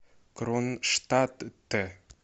кронштадте